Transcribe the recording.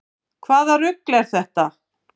Hvaða rugl er þetta?